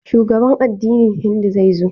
Shugaban addinin Hindu zai zo.